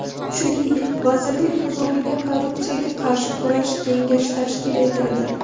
Shuningdek, vazirlik huzurida korrupsiyaga qarshi kurash kengashi tashkil etildi.